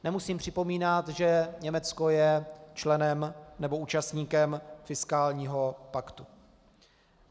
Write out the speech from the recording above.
Nemusím připomínat, že Německo je členem nebo účastníkem fiskálního paktu.